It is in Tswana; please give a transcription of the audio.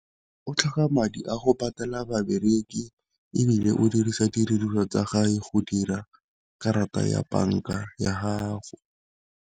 O tlhoka madi a go patala babereki ebile o dirisa tsa gage go dira karata ya banka ya gago.